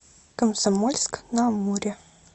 комсомольск на амуре